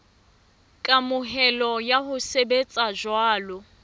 kamohelo ya ho sebetsa jwalo